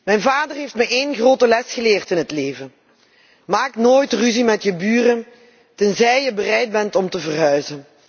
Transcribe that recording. Mijn vader heeft me één grote les geleerd in het leven maak nooit ruzie met je buren tenzij je bereid bent om te verhuizen.